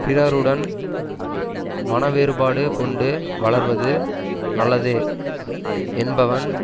பிறருடன் மனவேறுபாடு கொண்டு வளர்வது நல்லதே என்பவன்